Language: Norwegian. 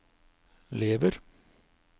lever